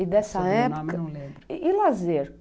E dessa época... E lazer?